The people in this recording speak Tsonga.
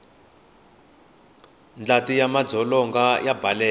ndlati ya madzolonga ya baleka